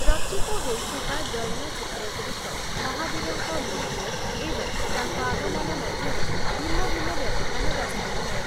ରଚିତ ହୋଇଥିବା ଜୈନ ସୂତ୍ରଗୁଡ଼ିକ ମହାବୀରଙ୍କ ମୃତ୍ୟୁ ଏବଂ ତାଙ୍କ ଆଗମନ ମଧ୍ୟରେ ଭିନ୍ନ ଭିନ୍ନ ବ୍ୟବଧାନ ଦର୍ଶାଇଥାଏ ।